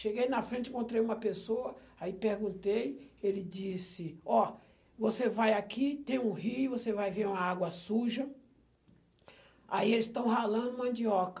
Cheguei na frente, encontrei uma pessoa, aí perguntei, ele disse, ó, você vai aqui, tem um rio, você vai ver uma água suja, aí eles estão ralando mandioca.